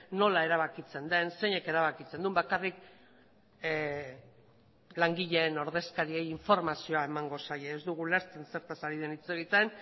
nola erabakitzen den zeinek erabakitzen duen bakarrik langileen ordezkariei informazioa emango zaie ez dugu ulertzen zertaz ari den hitz egiten